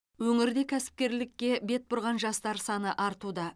өңірде кәсіпкерлікке бет бұрған жастар саны артуда